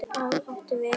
Hvað er átt við?